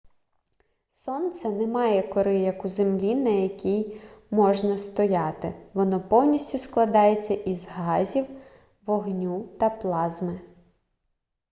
сонце не має кори як у землі на якій можна стояти воно повністю складається із газів вогню та плазми